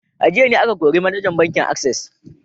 A jiya ne aka kori manajan bankin Access